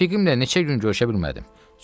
Rəfiqimlə neçə gün görüşə bilmədim.